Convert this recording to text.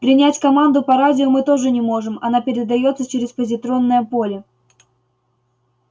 принять команду по радио мы тоже не можем она передаётся через позитронное поле